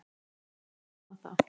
En ég vona það!